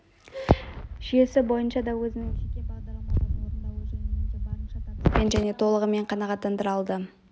жүйесі бойынша да өзінің жеке бағдарламаларын орындауы жөнінен де барынша табыспен және толығымен қанағаттандыра алады